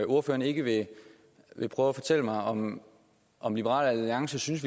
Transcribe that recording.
ordføreren ikke vil prøve at fortælle mig om om liberal alliance synes